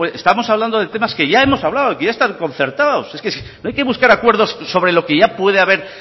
estamos hablando de temas que ya hemos hablado que ya está concertados no hay que buscar acuerdos sobre lo que ya puede haber